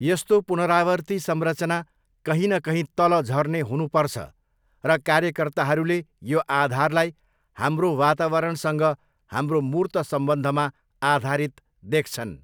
यस्तो पुनरावर्ती संरचना कहीँ न कहीँ 'तल झर्ने' हुनुपर्छ र कार्यकर्ताहरूले यो आधारलाई हाम्रो वातावरणसँग हाम्रो मूर्त सम्बन्धमा आधारित देख्छन्।